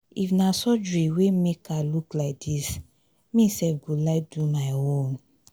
if na surgery wey make her look like dis me sef go like do my own.